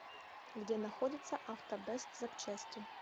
где находится автобэст запчасти